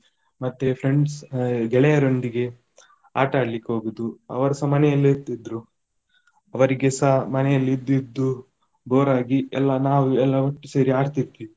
ಮತ್ತೆ friends ಆ ಗೆಳೆಯರೊಂದಿಗೆ ಆಟ ಆಡ್ಲಿಕ್ಕೆ ಹೋಗುದು ಅವರುಸ ಮನೆಯಲ್ಲೇ ಇರ್ತಿದ್ದ್ರು. ಅವರಿಗೆಸ ಮನೆಯಲ್ಲಿ ಇದ್ದು ಇದ್ದು bore ಆಗಿ ಎಲ್ಲ ನಾವು ಎಲ್ಲ ಒಟ್ಟು ಸೇರಿ ಆಡ್ತಿದ್ವಿ.